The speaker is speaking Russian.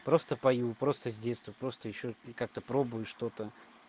просто пою просто с детства просто ещё и как-то пробую что-то